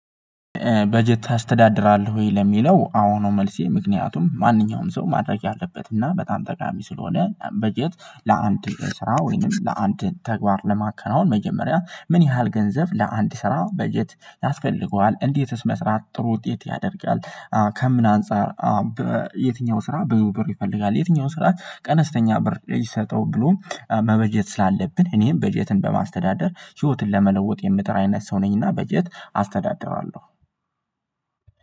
በጀት ታስተዳድራለህ ወይ? ለሚለው አዎ ነው መልሴ ምክንያቱም ማንኛውንም ሰው ማድረግ ያለበት እና በጣም ጠቃሚ ስለሆነ በጀት ለአንድ ስራ ወይንም ለአንድ ተግባር ለማከናወን መጀመሪያ ምን ያህል ገንዘብ ለአንድ ስራ በጀት ያስፈልገዋል እንዴትስ መስራት ጥሩ ውጤት ያደርጊዋል ከምን አንፃር በየትኛው ስራ ብዙ ብር ይፈልጋል የትኛው ስራ ቀነስተኛ ብር ይሰጠው ብሎ መበጀት ስላለብን እኔም በጀትን በማስተዳደር ህይወትን ለመለወጥ የምጥር አይነት ሰው ነኝና በጀት አስተዳድራለሁ